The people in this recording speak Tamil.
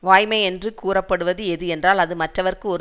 வாய்மை என்று கூறப்படுவது எது என்றால் அது மற்றவர்க்கு ஒரு